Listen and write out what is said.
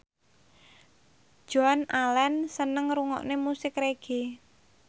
Joan Allen seneng ngrungokne musik reggae